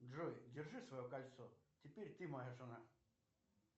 джой держи свое кольцо теперь ты моя жена